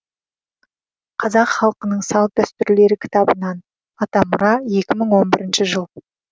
қазақ халқының салт дәстүрлері кітабынан атамұра екі мың он бірінші жыл